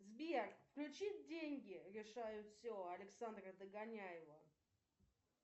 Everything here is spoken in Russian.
сбер включи деньги решают все александра догоняева